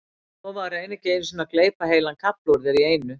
Lofa að reyna ekki einu sinni að gleypa heilan kafla úr þér í einu.